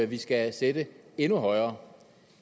vi skal sætte endnu højere